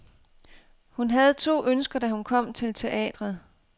Hun havde to ønsker, da hun kom til teatret.